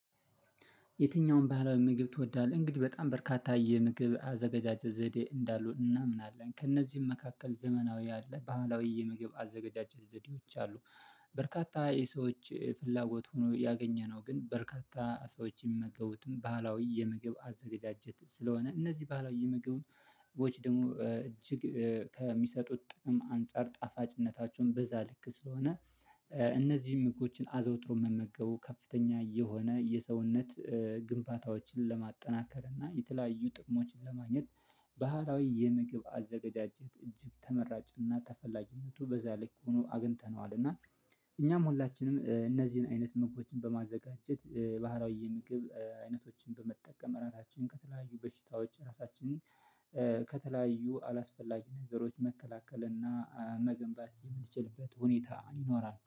የትኛውም ባህላዊ ምግብ ትወዳለህ? እንግዲህ በጣም በርካታ የምግብ አዘጋጃጀት ዘዴ እንዳሉ እናምናለን ከእነዚህም መካከል ዘመናዊ ያለ ባህላዊ የምግብ አዘጋጃጀት ዘዴዎች አሉ። በርካታ የሰዎች ፍላጎት ሆኖ ያገኘነው ግን በርካታ ሰዎች የሚመገቡትን ባህላዊ የምግብ አዘጋጀት ስለሆነ እነዚህ ባሀላዊው የምግብ ወጪ ደግሞ እጅግ ከሚሰጡት ጥቅም አንፃር ጣፋጭነታቸውን በዛ ልክ ስለሆነ። እነዚህን ምግቦችን አዘወትሮ መመገቡ ከፍተኛ የሆነ የሰውነት ግንባታዎችን ለማጠናከር እና የተለያዩ ጥቅሞችን ለማግኘት። ባህላዊ የምግብ አዘጋጃጀት እጅግ ተመራጭና ተፈላጊነቱ በዛ ልክ ሆኖ አግኝተነዋል። እና እኛም ሁላችንም እነዚህን አይነት መግቦችን በማዘጋጀት ባህላዊ የምግብ አይነቶችን በመጠቀም ራታችን ከተለያዩ በሽታዎች ራሳችንን ከተለያዩ አላስፈላጊ ነገሮች መከላከል እና መገንባት የምንችልበት ሁኔታ ይኖራል